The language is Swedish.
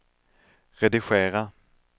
redigera